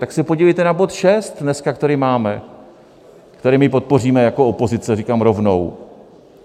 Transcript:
Tak se podívejte na bod šest dneska, který máme, který my podpoříme jako opozice, říkám rovnou.